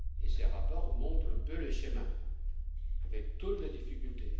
Ces rapports montrent un peu le chemin avec toutes les difficultés.